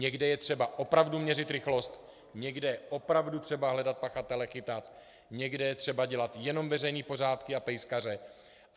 Někde je třeba opravdu měřit rychlost, někde je opravdu třeba hledat pachatele, chytat, někde je třeba dělat jenom veřejné pořádky a pejskaře.